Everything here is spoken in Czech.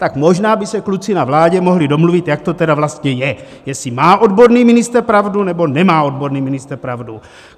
Tak možná by se kluci na vládě mohli domluvit, jak to tedy vlastně je, jestli má odborný ministr pravdu, nebo nemá odborný ministr pravdu.